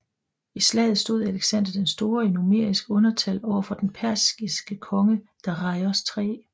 I slaget stod Alexander Den Store i numerisk undertal over for den persiske konge Dareios 3